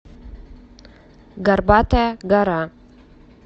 горбатая гора